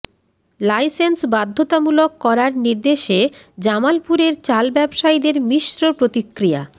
licence বাধ্যতামূলক করার নির্দেশে জামালপুরের চাল ব্যবসায়ীদের মিশ্র প্রতিক্রিয়া